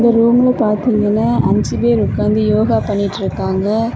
ரூம்ல பாத்தீங்கன்னா அஞ்சு பேர் இருக்காங்க யோகா பண்ணிட்டு இருக்காங்க.